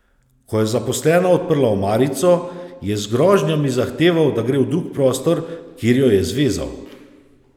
Ko je zaposlena odprla omarico, je z grožnjami zahteval, da gre v drug prostor, kjer jo je zvezal.